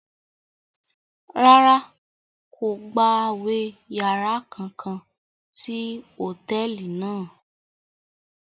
Rárá, kò gbawe yàrá kankan sí hotẹẹli náà